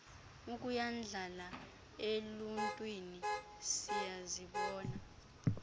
ukuyandlala eluuntwini siyazibona